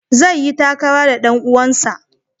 Zai yi takara da ɗan uwansa.